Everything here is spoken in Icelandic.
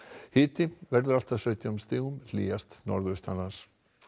hiti verður allt að sautján stigum hlýjast norðaustanlands